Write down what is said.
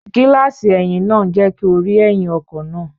Gíláàsì ẹ̀yìn náà ń jẹ́ kí o rí ẹ̀yìn ọkọ̀ náà